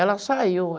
Ela saiu.